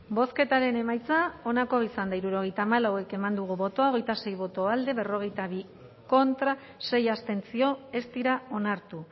bozketaren emaitza onako izan da hirurogeita hamalau eman dugu bozka hogeita sei boto alde berrogeita bi contra sei abstentzio ez dira onartu